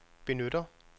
benytter